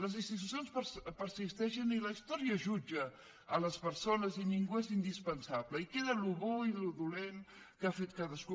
les institucions persisteixen i la història jutja les persones i ningú és indispensable i queda allò bo i allò dolent que ha fet cadascú